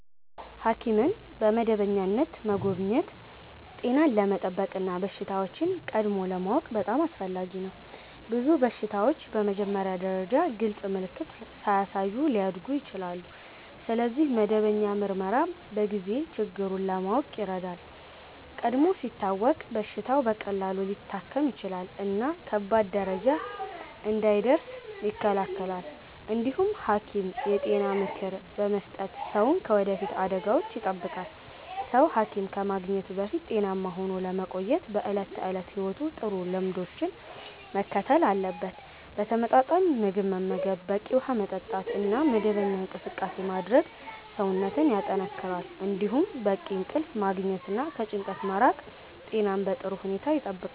ሐኪምን በመደበኛነት መጎብኘት ጤናን ለመጠበቅ እና በሽታዎችን ቀድሞ ለማወቅ በጣም አስፈላጊ ነው። ብዙ በሽታዎች በመጀመሪያ ደረጃ ግልጽ ምልክት ሳያሳዩ ሊያድጉ ይችላሉ፣ ስለዚህ መደበኛ ምርመራ በጊዜ ችግሩን ለማወቅ ይረዳል። ቀድሞ ሲታወቅ በሽታው በቀላሉ ሊታከም ይችላል እና ከባድ ደረጃ እንዳይደርስ ይከላከላል። እንዲሁም ሐኪም የጤና ምክር በመስጠት ሰውን ከወደፊት አደጋዎች ይጠብቃል። ሰው ሐኪም ከማግኘቱ በፊት ጤናማ ሆኖ ለመቆየት በዕለት ተዕለት ሕይወቱ ጥሩ ልምዶችን መከተል አለበት። ተመጣጣኝ ምግብ መመገብ፣ በቂ ውሃ መጠጣት እና መደበኛ እንቅስቃሴ ማድረግ ሰውነትን ያጠናክራሉ። እንዲሁም በቂ እንቅልፍ ማግኘት እና ከጭንቀት መራቅ ጤናን በጥሩ ሁኔታ ይጠብቃል።